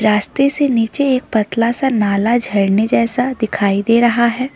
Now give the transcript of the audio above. रास्ते से नीचे एक पतला सा नाला झरने जैसा दिखाई दे रहा है।